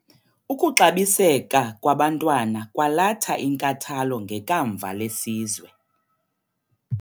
Ukuxabiseka kwabantwana kwalatha inkathalo ngekamva lesizwe.